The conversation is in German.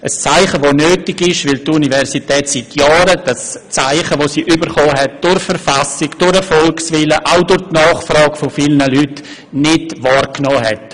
Dieses Zeichen ist nötig, weil die Universität seit Jahren dasjenige Zeichen, welches sie durch die Verfassung, durch den Volkswillen und auch durch die Nachfrage von vielen Leuten nicht wahrgenommen hat.